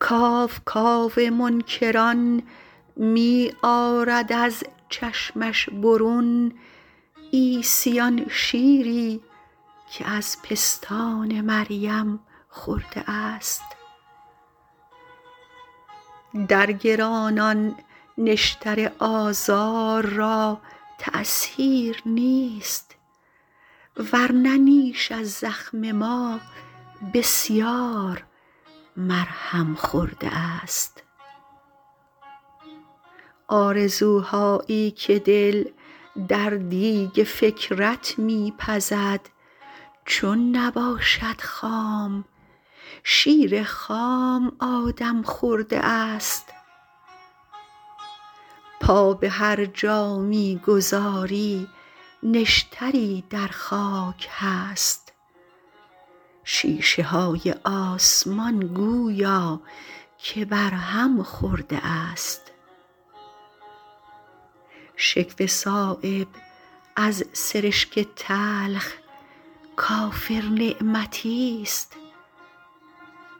کاو کاو منکران می آرد از چشمش برون عیسی آن شیری که از پستان مریم خورده است در گرانان نشتر آزار را تأثیر نیست ورنه نیش از زخم ما بسیار مرهم خورده است آرزوهایی که دل در دیگ فکرت می پزد چون نباشد خام شیر خام آدم خورده است پا به هر جا می گذاری نشتری در خاک هست شیشه های آسمان گویا که بر هم خورده است شکوه صایب از سرشک تلخ کافر نعمتی است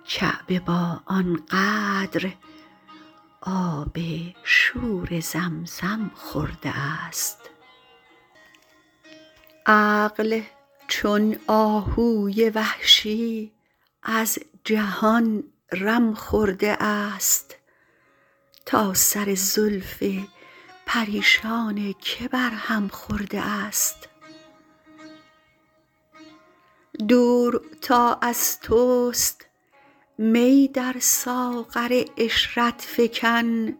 کعبه با آن قدر آب شور زمزم خورده است عقل چون آهوی وحشی از جهان رم خورده است تا سر زلف پریشان که بر هم خورده است دور تا از توست می در ساغر عشرت فکن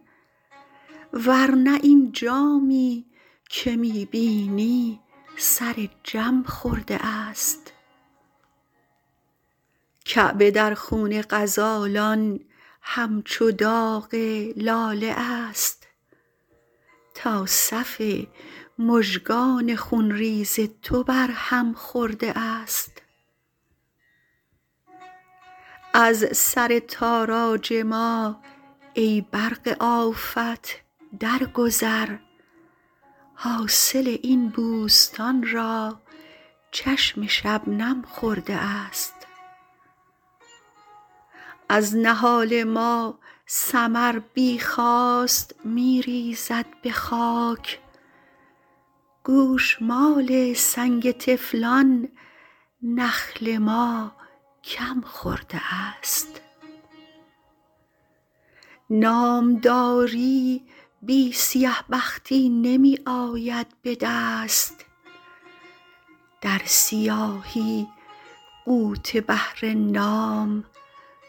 ورنه این جامی که می بینی سر جم خورده است کعبه در خون غزالان همچو داغ لاله است تا صف مژگان خونریز تو بر هم خورده است از سر تاراج ما ای برق آفت در گذر حاصل این بوستان را چشم شبنم خورده است از نهال ما ثمر بی خواست می ریزد به خاک گوشمال سنگ طفلان نخل ما کم خورده است نامداری بی سیه بختی نمی آید به دست در سیاهی غوطه بهر نام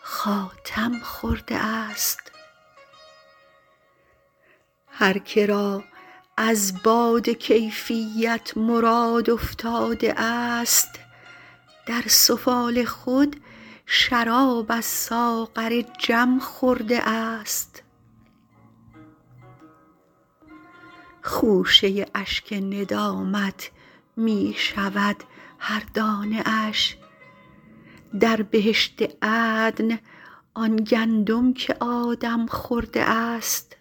خاتم خورده است هر که را از باده کیفیت مراد افتاده است در سفال خود شراب از ساغر جم خورده است خوشه اشک ندامت می شود هر دانه اش در بهشت عدن آن گندم که آدم خورده است